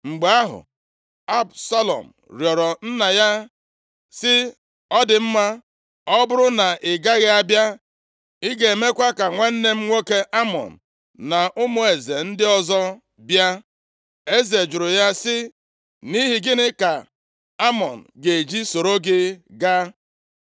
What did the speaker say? Mgbe ahụ, Absalọm rịọrọ nna ya sị, “Ọ dị mma, ọ bụrụ na ị gaghị abịa, ị ga-emekwa ka nwanna m nwoke Amnọn, na ụmụ eze ndị ọzọ bịa?” Eze jụrụ ya sị, “Nʼihi gịnị ka Amnọn ga-eji soro gị gaa?”